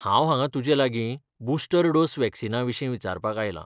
हांव हांगा तुजेलागीं बुस्टर डोस वॅक्सीनाविशीं विचारपाक आयलां.